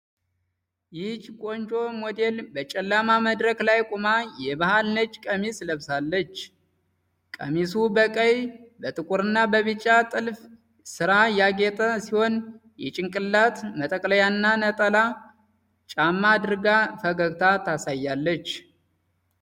ይህች ቆንጆ ሴት ሞዴል በጨለማ መድረክ ላይ ቆማ የባህል ነጭ ቀሚስ ለብሳለች። ቀሚሱ በቀይ፣ በጥቁርና በቢጫ የጥልፍ ሥራ ያጌጠ ሲሆን፣ የጭንቅላት መጠቅለያና ነጠላ ጫማ አድርጋ ፈገግታ ታሳያለች።